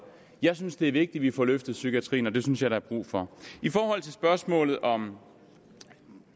jeg synes det er vigtigt at vi får løftet psykiatrien og det synes jeg der er brug for i forhold til spørgsmålet om